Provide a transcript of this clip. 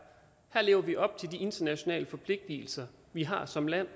her lever vi op til de internationale forpligtelser vi har som land